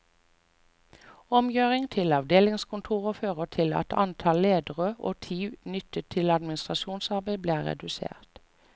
Omgjøring til avdelingskontorer fører til at antall ledere og tid nyttet til administrasjonsarbeid blir redusert.